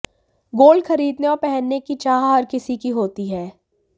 gold खरीदने और पहनने की चाह हर किसी की होती है